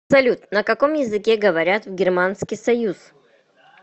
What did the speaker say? салют на каком языке говорят в германский союз